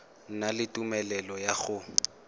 na le tumelelo ya go